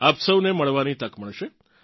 આપ સૌને મળવાની તક મળશે